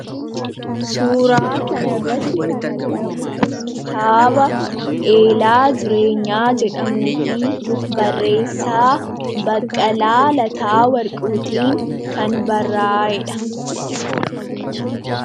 Suuraa kanarratti kan argamu kitaaba 'Eelaa Jireenyaa' jedhamuu fi barreessaa Baqqalaa Lataa Warquu tiin kan barraa'edha.